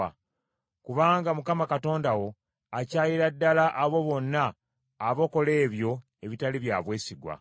Kubanga Mukama Katonda wo akyayira ddala abo bonna abakola ebyo ebitali bya bwesigwa.